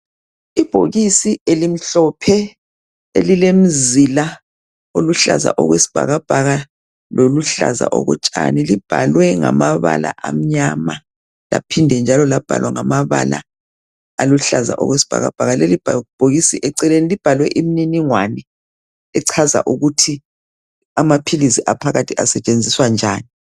Ibhokisi elimhlophe elilemzila eluhlaza okwesibhakabhaka loluhlaza okotshani libhalwe ngamabala amnyama laphinda njalo labhalwa ngamabala aluhlaza okwesibhakabhaka, leli bhokisi eceleni libhalwe imininingwane echaza ukuthi amaphilizi aphakathi asetshenziswa njani.